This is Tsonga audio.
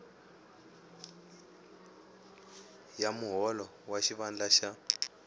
ya muholo wa xivandla xa